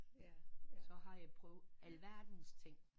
Så har jeg prøvet alverdens ting